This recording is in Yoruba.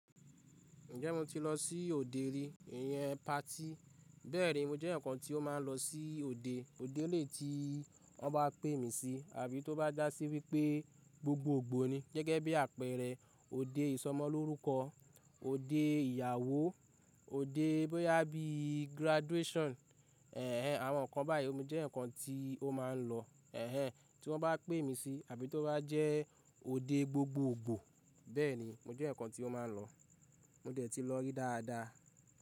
Ǹjẹ́ mo ti lọ sí òde rí? Ìyẹn party, bẹ́ẹ̀ni mo jẹ́ eyen ǹkan tí ó máa ń lọ sí òde, òde lèyii tí wọ́n bá pè mí sí àbí tó bá dà sí wípé gbogbogbò ni. Gẹ́gẹ́ bí àpẹrẹ òde ìsọmọlórúkọ, òde ìyàwó, òde bí i graduation. Àwọn ǹkan báyìí, mo jẹ eyen ǹkan tí ó máa ń lọ. Ẹ̀hẹ̀n tí wọ́n bá pè mí sí àbí tó bá jẹ́ òde gbogbogbò, bẹ́ẹ̀ni mo jẹ ǹkan tí ó máa ń lọ. Mo dẹ̀ ti lọ rí dáadáa.